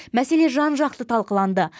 мәселе жан жақты талқыланды